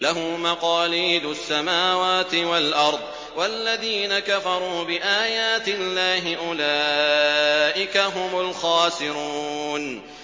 لَّهُ مَقَالِيدُ السَّمَاوَاتِ وَالْأَرْضِ ۗ وَالَّذِينَ كَفَرُوا بِآيَاتِ اللَّهِ أُولَٰئِكَ هُمُ الْخَاسِرُونَ